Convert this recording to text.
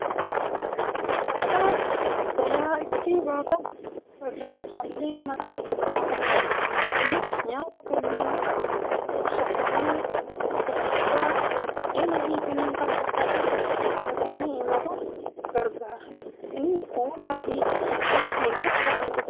Hodhaa galaa itti baataan irra calleen mataa irra kaa'amee jira. Inni nyaata kanneen akka kursoddomee, irradibaa, buddeenii fi kan kana fakkaatan keessatti qabatanii imaluuf gargaara. Inni kuula fi migira irraa hojjatamuu danda'a.